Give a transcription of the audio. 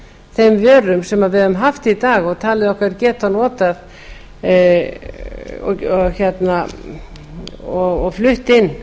þeim vörum sem við höfum haft í dag og teljum okkur geta notað og flutt inn